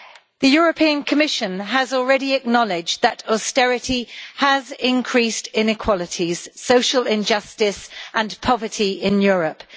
The Commission has already acknowledged that austerity has increased inequalities, social injustice and poverty in Europe.